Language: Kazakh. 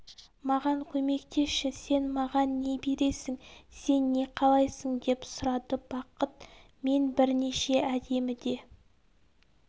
маған көмектесші сен маған не бересің сен не қалайсың деп сұрады бақыт мен бірнеше әдемі де